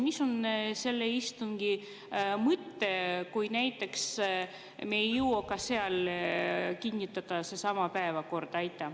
Mis on selle istungi mõte, kui me näiteks ei jõua ka seal kinnitada sedasama päevakorda?